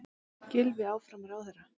Gylfi áfram ráðherra